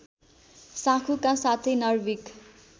साँखुका साथै नर्भिक